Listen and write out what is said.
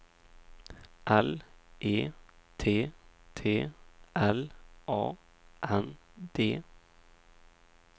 L E T T L A N D